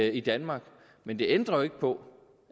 i danmark men det ændrer jo ikke på